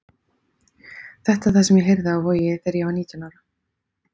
Þetta er það sem ég heyrði á Vogi þegar ég var nítján ára.